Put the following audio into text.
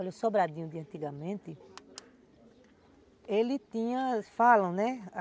Olha, o Sobradinho de antigamente, ele tinha, falam, né?